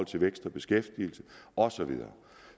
til vækst og beskæftigelse og så videre